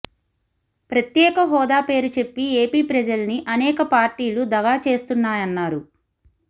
ప్రత్యేక హోదా పేరు చెప్పి ఏపీ ప్రజల్ని అనేక పార్టీలు దగా చేస్తున్నాయన్నారు